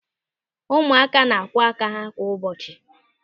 Ụmụaka na-akwọ aka ha kwa ụbọchị.